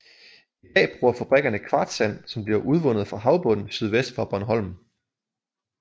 I dag bruger fabrikkerne kvartssand som bliver udvundet fra havbunden sydvest for Bornholm